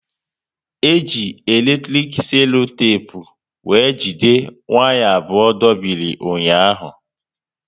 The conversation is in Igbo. E ji eletrik selotepu were jide waya abụọ dobiri ụnyaahụ